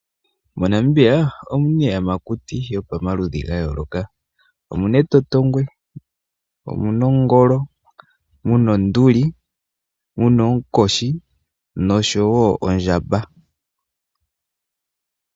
MoNamibia omu na iiyamakuti yomaludhi ga yooloka. Omu na etotngwe, omu na ongolo, mu na onduli, mu na oonkoshi nosho wo ondjamba.